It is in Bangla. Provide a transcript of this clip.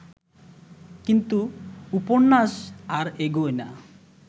কিন্তু উপন্যাস আর এগোয় না